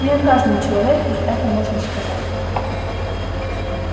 не о каждом человеке это можно сказать